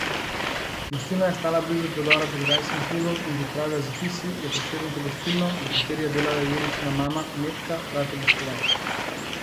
Gostilna je stala blizu predora pod grajskim hribom in kot pravijo zapisi, je Prešeren to gostilno, v kateri je delala Jeričina mama Metka, rad obiskoval.